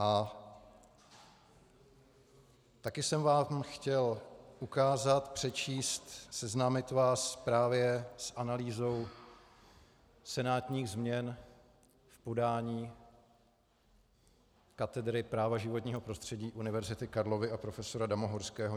A taky jsem vám chtěl ukázat, přečíst, seznámit vás právě s analýzou senátních změn v podání katedry práva životního prostředí Univerzity Karlovy a profesora Damohorského.